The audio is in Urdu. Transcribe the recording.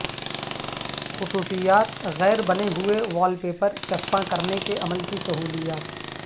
خصوصیات غیر بنے ہوئے وال پیپر چسپاں کرنے کے عمل کی سہولیات